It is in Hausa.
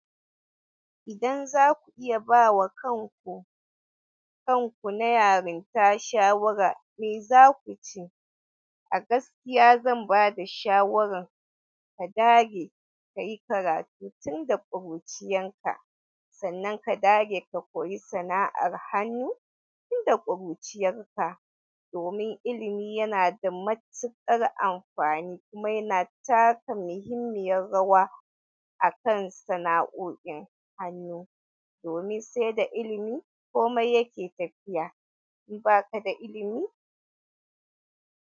Idan za ku iya ba wa kanku, kanku na yarinta shawara, me za ku ce? A gaskiya zan ba da shawarar ka dage ka yi karatu tun da ƙuruciyarka, sannan ka dage ka koyi sana'ar hannu tun da ƙuruciyarka, domin ilimi yana da matuƙar amfani kuma yana taka muhimmiyar rawa a kan sana'o'in hannu, domin sai da ilimi kome yake tafiya. In baka da ilimi?